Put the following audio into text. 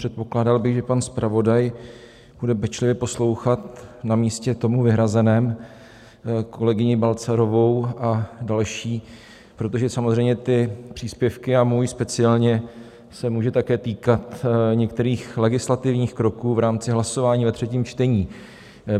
Předpokládal bych, že pan zpravodaj bude pečlivě poslouchat na místě tomu vyhrazeném kolegyni Balcarovou a další, protože samozřejmě ty příspěvky, a můj speciálně, se mohou také týkat některých legislativních kroků v rámci hlasování ve třetím čtení.